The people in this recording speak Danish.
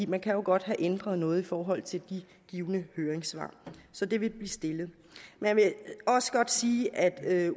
man kan jo godt have ændret noget i forhold til de givne høringssvar så de vil blive stillet jeg vil også godt sige at